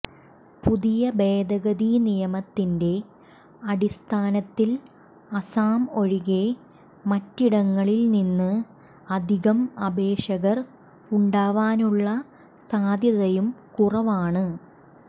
പുതിയ ഭേദഗതി നിയമത്തിന്റെ അടിസ്ഥാനത്തിൽ അസം ഒഴികെ മറ്റിടങ്ങളിൽനിന്ന് അധികം അപേക്ഷകർ ഉണ്ടാവാനുള്ള സാധ്യതയും കുറവാണ്